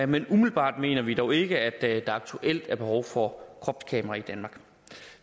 men umiddelbart mener vi dog ikke at der aktuelt er behov for kropskamera i danmark